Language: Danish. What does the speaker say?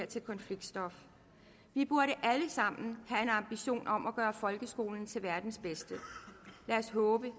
til konfliktstof vi burde alle sammen have en ambition om at gøre folkeskolen til verdens bedste lad os håbe